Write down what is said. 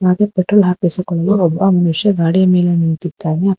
ಹಾಗೆ ಪೆಟ್ರೋಲ್ ಹಾಕಿಸಿಕೊಂಡು ಒಬ್ಬ ಮನುಷ್ಯ ಗಾಡಿ ಮೇಲೆ ನಿಂತಿದ್ದಾನೆ.